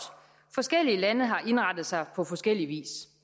forskellige lande har indrettet sig på forskellig vis